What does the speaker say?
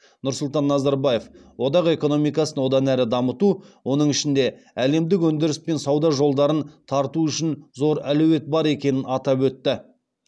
нұрсұлтан назарбаев одақ экономикасын одан әрі дамыту оның ішінде әлемдік өндіріс пен сауда жолдарын тарту үшін зор әлеует бар екенін атап өтті